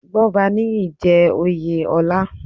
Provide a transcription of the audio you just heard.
Gbọ́baníyì jẹ́ oyè ọlá.